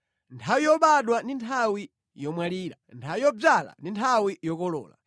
Nthawi yobadwa ndi nthawi yomwalira, nthawi yodzala ndi nthawi yokolola.